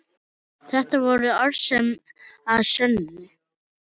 Þetta voru orð að sönnu.